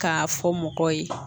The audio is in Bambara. K'a fɔ mɔgɔ ye